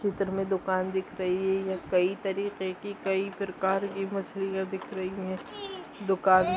इस चित्र मे दुकान दिख रही हैं कई तरीके की कई प्रकार की मछलिया दिख रही हैंदुकान मे--